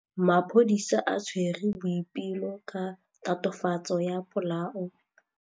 Maphodisa a tshwere Boipelo ka tatofatsô ya polaô.